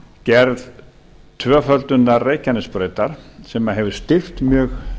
gerð tvöföldunar reykjanesbrautar sem hefur styrkt mjög